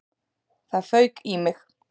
Það fauk í mig.